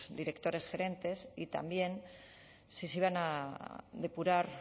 directores gerentes y también si se iban a depurar